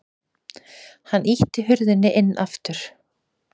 Hann ýtti hurðinni inn aftur.